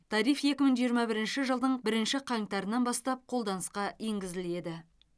тариф екі мың жиырма бірінші жылдың бірінші қаңтарынан бастап қолданысқа енгізіледі